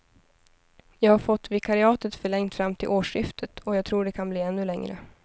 Jag har fått vikariatet förlängt fram till årsskiftet, och jag tror att det kan bli ännu längre.